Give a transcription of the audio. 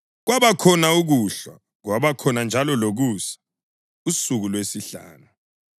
Kwabakhona ukuhlwa, kwabakhona njalo lokusa, usuku lwesihlanu.